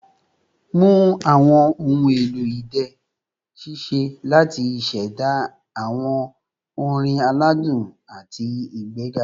Mu awọn ohun elo idẹ ṣiṣẹ lati ṣẹda awọn orin aladun ati igbega